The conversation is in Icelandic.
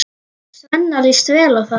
Svenna líst vel á það.